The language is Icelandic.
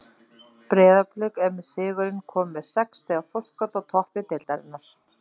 Breiðablik er með sigrinum komið með sex stiga forskot á toppi deildarinnar.